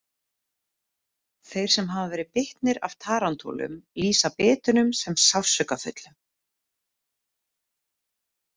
Þeir sem hafa verið bitnir af tarantúlum lýsa bitunum sem sársaukafullum.